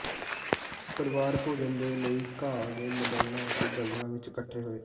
ਪਰਿਵਾਰ ਭੋਜਨ ਦੇ ਲਈ ਘਾਹ ਦੇ ਮੈਦਾਨਾਂ ਅਤੇ ਜੰਗਲਾਂ ਵਿਚ ਇਕੱਠੇ ਹੋਏ